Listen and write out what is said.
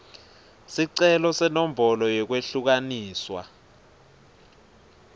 sicelo senombolo yekwehlukaniswa